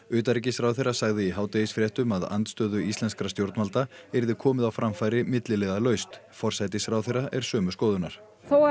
utanríkisráðherra sagði í hádegisfréttum að andstöðu íslenskra stjórnvalda yrði komið á framfæri milliliðalaust forsætisráðherra er sömu skoðunar þó